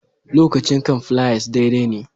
Lokacin kan fliers daidai ne